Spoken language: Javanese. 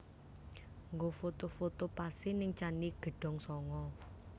Nggo foto foto pase ning Candi Gedong Songo